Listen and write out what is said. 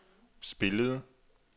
spillede